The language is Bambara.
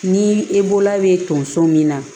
Ni e bolola bɛ tonso min na